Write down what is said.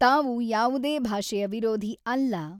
ತಾವು ಯಾವುದೇ ಭಾಷೆಯ ವಿರೋಧಿ ಅಲ್ಲ.